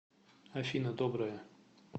афина доброе